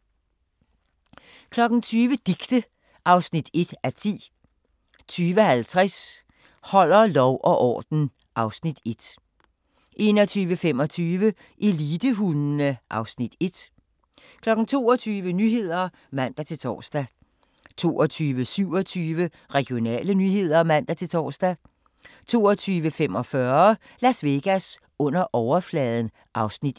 20:00: Dicte (1:10) 20:50: Holder lov og orden (Afs. 1) 21:25: Elitehundene (Afs. 1) 22:00: Nyhederne (man-tor) 22:27: Regionale nyheder (man-tor) 22:45: Las Vegas under overfladen (Afs. 1)